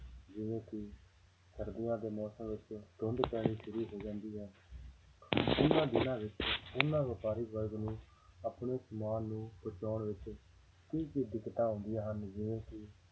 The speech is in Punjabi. ਜਿਵੇਂ ਸਰਦੀਆਂ ਦੇ ਮੌਸਮ ਵਿੱਚ ਧੁੰਦ ਪੈਣੀ ਸ਼ੁਰੂ ਹੋ ਜਾਂਦੀ ਹੈ ਉਹਨਾਂ ਦਿਨਾਂ ਵਿੱਚ ਉਹਨਾਂ ਵਪਾਰੀ ਵਰਗ ਨੂੰ ਆਪਣਾ ਸਮਾਨ ਨੂੰ ਪਹੁੰਚਾਉਣ ਵਿੱਚ ਕੀ ਕੀ ਦਿੱਕਤਾਂ ਆਉਂਦੀਆਂ ਹਨ ਜਿਵੇਂ ਕਿ